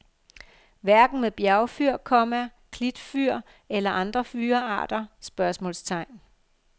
Hverken med bjergfyr, komma klitfyr eller andre fyrrearter? spørgsmålstegn